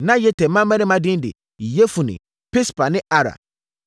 Na Yeter mmammarima din de: Yefune, Pispa ne Ara.